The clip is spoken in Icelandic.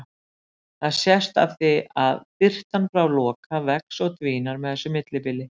Það sést af því að birtan frá Loka vex og dvínar með þessu millibili.